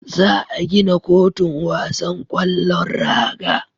Za a gina kotun wasan kwallon raga